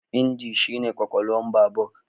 Inji shi ne kwakwalwar babur.